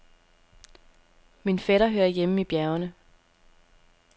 Min fætter hører hjemme i bjergene.